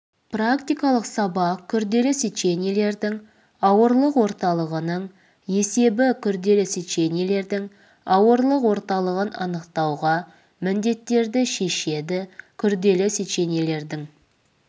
практикалық сабақ күрделі сечениелердің ауырлық орталығының есебі күрделі сечениелердің ауырлық орталығын анықтауға міндеттерді шешеді күрделі сечениелердің